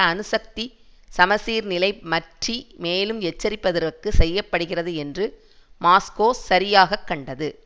அணுசக்தி சமசீர்நிலை மற்றி மேலும் எச்சரிப்பதற்கு செய்ய படுகிறது என்று மாஸ்கோ சரியாக கண்டது